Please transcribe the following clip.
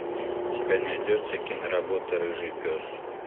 у тебя найдется киноработа рыжий пес